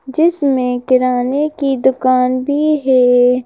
जिसमें किराने की दुकान भी है।